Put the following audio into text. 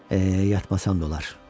E, yatmasam da olar.